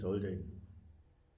Stolte af